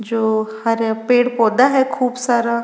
जो हरा पेड़ पौधा है खूब सारा।